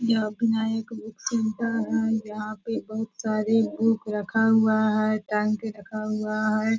एक book centre है यहाँ पे बहुत सारी बुक रखा हुआ है पे रखा हुआ है।